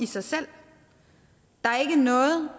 i sig selv der er ikke noget